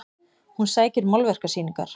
Hún sækir málverkasýningar